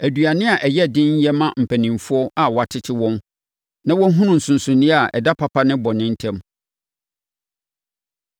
Aduane a ɛyɛ den yɛ ma mpanimfoɔ a wɔatete wɔn na wɔahunu nsonsonoeɛ a ɛda papa ne bɔne ntam.